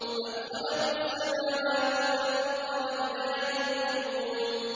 أَمْ خَلَقُوا السَّمَاوَاتِ وَالْأَرْضَ ۚ بَل لَّا يُوقِنُونَ